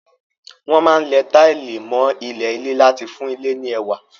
Wọ́n máa ń lẹ táìlì mọ́ ilẹ̀ ilé láti fún ilé ní ẹwà.